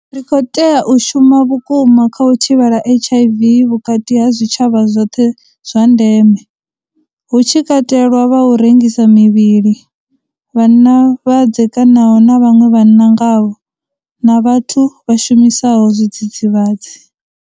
Ri khou tea u shuma vhukuma kha u thivhela HIV vhukati ha zwitshavha zwoṱhe zwa ndeme, hu tshi katelwa vha u rengisa mivhili, vhanna vha dzekanaho na vhaṅwe vhanna ngavho, na vhathu vha shumisaho zwidzidzivhadzi.